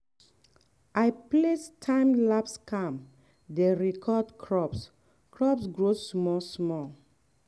i place time-lapse cam dey record crop crop growth small-small.